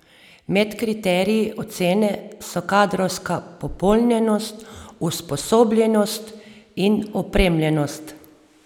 Med kriteriji ocene so kadrovska popolnjenost, usposobljenost in opremljenost.